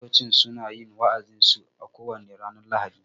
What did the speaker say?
Fastocin suna yin wa'azin su a ko wane ranar lahadi